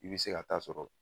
I bɛ se ka taa sɔrɔ